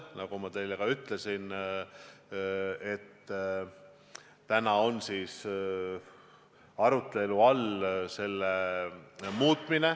Nagu ma teile juba ütlesin, praegu on arutelu all selle muutmine.